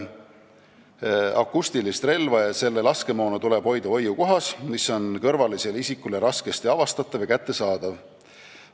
Akustilist relva ja selle laskemoona tuleb hoida hoiukohas, mis on kõrvalisele isikule raskesti avastatav ja kättesaadav.